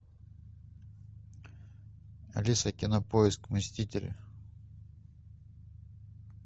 алиса кинопоиск мстители